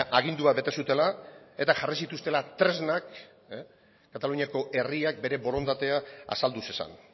agindua bete zutela eta jarri zituztela tresnak kataluniako herriak bere borondatea azaldu zezan